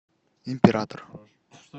император